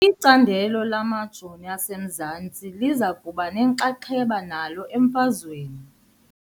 Icandelo lamajoni asemanzini liza kuba nenxaxheba nalo emfazweni .